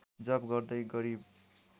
जप गर्दै गरिब